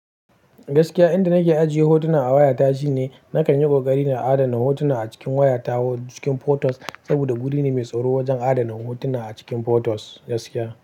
Gaskiya inda nake ajiye hotuna a wayata shine nakan yi ƙoƙari na adana hotuna a cikin wayata cikin photos saboda guri ne mai tsaro wajen adana hotuna a cikin photos gaskiya.